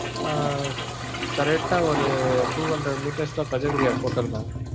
ஆஹ் correct ஆ ஒரு two-hundred meters தான் ஹோட்டல் mam.